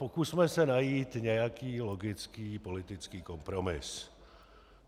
Pokusme se najít nějaký logický politický kompromis.